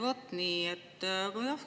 Vot nii!